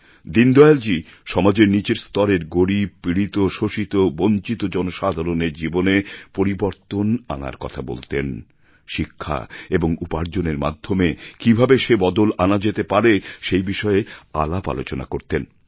দীনদয়ালজী সমাজের নীচের স্তরের গরীব পীড়িত শোষিত বঞ্চিত জনসাধারণের জীবনে পরিবর্তন আনার কথা বলতেন শিক্ষা এবং উপার্জনের মাধ্যমে কীভাবে সে বদল আনা যেতে পারে সে বিষয়ে আলাপ আলোচনা করতেন